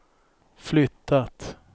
flyttat